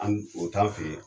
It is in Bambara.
An n o t'an fe ye